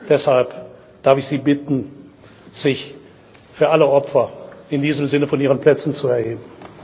Deshalb darf ich Sie bitten, sich für alle Opfer in diesem Sinne von Ihren Plätzen zu erheben.